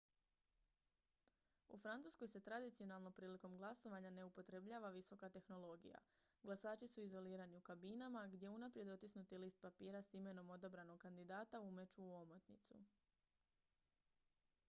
u francuskoj se tradicionalno prilikom glasovanja ne upotrebljava visoka tehnologija glasači su izolirani u kabinama gdje unaprijed otisnuti list papira s imenom odabranog kandidata umeću u omotnicu